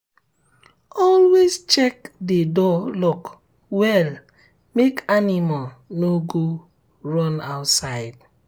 always check the um door lock well make um animal no run go outside.